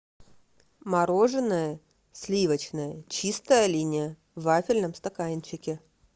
мороженое сливочное чистая линия в вафельном стаканчике